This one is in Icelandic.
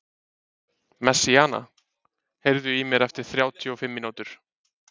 Messíana, heyrðu í mér eftir þrjátíu og fimm mínútur.